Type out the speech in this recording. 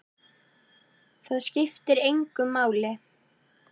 Það skiptir engu máli!